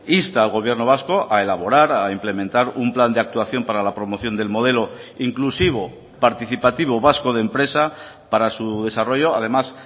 insta al gobierno vasco a elaborar a implementar un plan de actuación para la promoción del modelo inclusivo participativo vasco de empresa para su desarrollo además